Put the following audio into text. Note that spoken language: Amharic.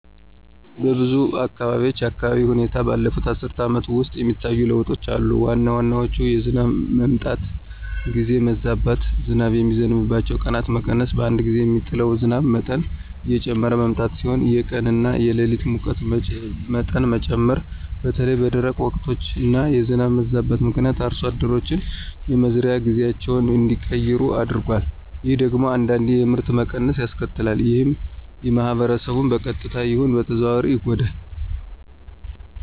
በብዙ አካባቢዎች የአየር ሁኔታ ባለፉት አስርት ዓመታት ውስጥ የሚታዩ ለውጦች አሉ። ዋና ዋናዎቹ የዝናብ መምጣት ጊዜ መዛባት፣ ዝናብ የሚዘንብባቸው ቀናት መቀነስ፣ በአንድ ጊዜ የሚጥለው ዝናብ መጠን እየጨመረ መምጣት ሲሆኑ የቀን እና የሌሊት ሙቀት መጠን መጨመር በተለይም በደረቅ ወቅቶች እና የዝናብ መዛባት ምክንያት አርሶ አደሮች የመዝሪያ ጊዜያቸውን እንዲቀይሩ አድርጓል። ይህ ደግሞ አንዳንዴ የምርት መቀነስን ያስከትላል። ይህም ማህበረሰቡን በቀጥታም ይሁን በተዘዋዋሪ ይጎዳል።